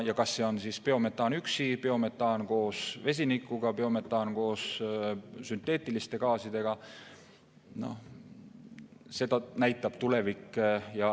Kas see on biometaan üksi, biometaan koos vesinikuga või biometaan koos sünteetiliste gaasidega, seda näitab tulevik.